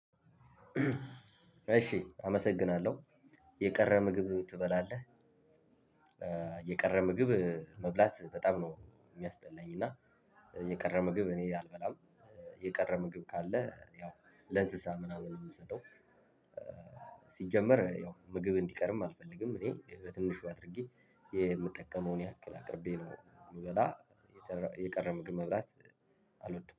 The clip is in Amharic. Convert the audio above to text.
እሺ አመሰግናለሁ የቀረ ምግብ ትበላለህ? የቀረ ምግብ መብላት በጣም ነው የሚያስጠላኝ እና የቀረ ምግብ እኔ አልበላም የቀረ ምግብ ካለ ያው ለእንስሳ ምናምን ነው የምሰጠው ሲጀመር ያው ምግብ እንዲቀርም አልፈልግም እኔ በትንሹ አድርጌ የምጠቀመውን ያክል አቅርቤ ነው የምበላ የቀረ ምግብ መብላት አልወድም።